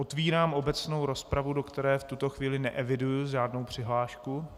Otvírám obecnou rozpravu, do které v tuto chvíli neeviduji žádnou přihlášku.